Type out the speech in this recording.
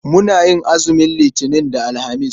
Muna yin azumin Litinin da Alhamis.